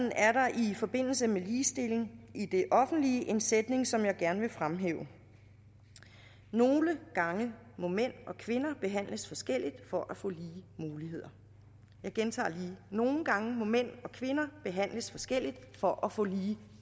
i forbindelse med ligestilling i det offentlige en sætning som jeg gerne vil fremhæve nogle gange må mænd og kvinder behandles forskelligt for at få lige muligheder jeg gentager lige nogle gange må mænd og kvinder behandles forskelligt for at få lige